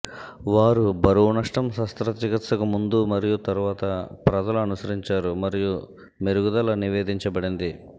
వారు బరువు నష్టం శస్త్రచికిత్సకు ముందు మరియు తరువాత ప్రజలు అనుసరించారు మరియు మెరుగుదల నివేదించబడింది